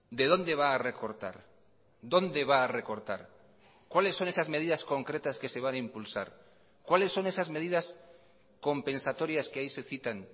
de dónde va a recortar dónde va a recortar cuáles son esas medidas concretas que se van a impulsar cuáles son esas medidas compensatorias que ahí se citan